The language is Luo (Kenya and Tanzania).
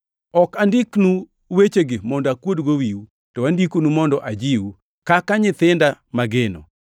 Ok andiknu wechegi mondo akuodgo wiu, to andikonugi mondo ajiwu, kaka nyithinda mageno.